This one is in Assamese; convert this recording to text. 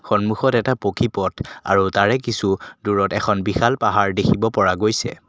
সন্মুখত এটা পকী পথ আৰু তাৰে কিছু দূৰত এখন বিশাল পাহাৰ দেখিব পৰা গৈছে।